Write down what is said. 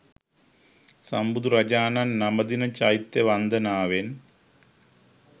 සම්බුදුරජාණන් නමදින චෛත්‍ය වන්දනාවෙන්